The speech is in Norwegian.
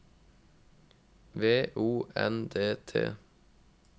V O N D T